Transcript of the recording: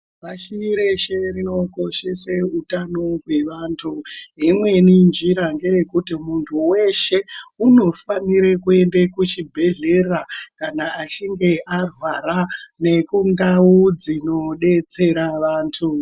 Pashi reshe rinokoshese utano hwevantu. Yemweni njira ngeyekuti muntu weshe unofanire kuende kuchibhedhlera kana achinge arwara nekundau dzinodetsera vantu.